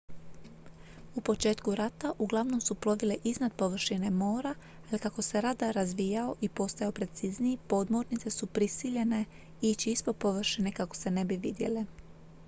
u početku rata uglavnom su plovile iznad površine mora ali kako se radar razvijao i postajao precizniji podmornice su prisiljene ići ispod površine kako se ne bi vidjele